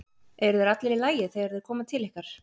Eru þeir allir í lagi þegar þeir koma til ykkar?